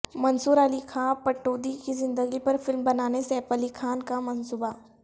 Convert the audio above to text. منصور علی خاں پٹودی کی زندگی پر فلم بنانے سیف علی خاں کا منصوبہ